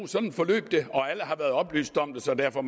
sådan forløb det og at alle har været oplyst om det så derfor